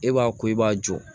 E b'a ko i b'a jɔ